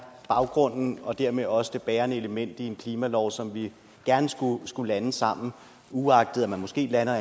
baggrunden og dermed også det bærende element i en klimalov som vi gerne skulle skulle lande sammen uagtet at man måske lander